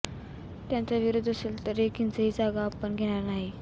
त्यांचा विरोध असेल तर एक इंचही जागा आपण घेणार नाही